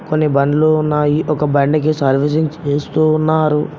కొన్ని బండ్లు ఉన్నాయి ఒక బండికి సర్వీసింగ్ చేస్తూ ఉన్నారు.